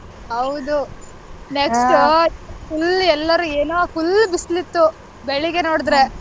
ಹೌದು next full ಎಲ್ಲರೂ ಏನೋ full ಬಿಸಲಿತ್ತು ಬೆಳ್ಗೆ ನೋಡ್ದ್ರೆ.